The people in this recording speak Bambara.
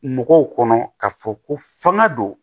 Mɔgɔw kɔnɔ ka fɔ ko fanga don